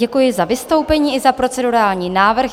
Děkuji za vystoupení i za procedurální návrh.